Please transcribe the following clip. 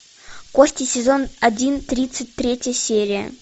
кости сезон один тридцать третья серия